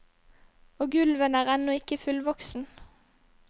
Og ulven er ennå ikke fullvoksen.